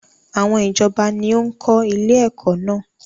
Àwọn ìjọba ni ó ń kọ́ ilé ẹ̀kọ́ náà.